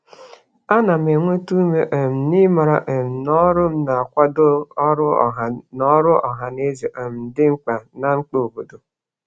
A na m enweta ume um n'ịmara um na ọrụ m na-akwado ọrụ ọha na ọrụ ọha na eze um dị mkpa na mkpa obodo.